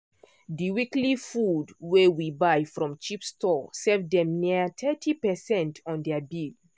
di weekly food wey we buy from cheap store save dem nearly thirty percent on their bill.